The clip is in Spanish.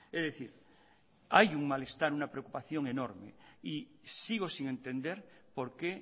es decir hay un malestar una preocupación enorme y sigo sin entender por qué